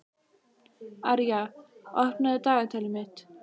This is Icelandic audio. Arja, opnaðu dagatalið mitt.